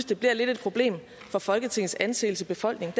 det bliver lidt et problem for folketingets anseelse i befolkningen